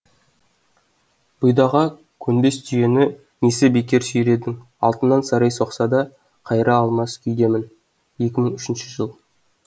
бұйдаға көнбес түйені несіне бекер сүйредің алтыннан сарай соқса да қайырыла алмас күйдемін екі мың үшінші жыл